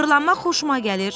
Fırlanmaq xoşuma gəlir.